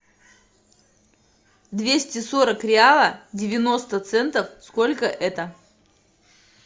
двести сорок реала девяносто центов сколько это